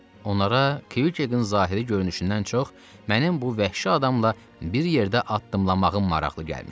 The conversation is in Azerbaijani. Onlara Kviqkin zahiri görünüşündən çox mənim bu vəhşi adamla bir yerdə addımlamağım maraqlı gəlmişdi.